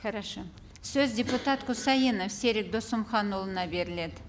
хорошо сөз депутат құсайынов серік досымханұлына беріледі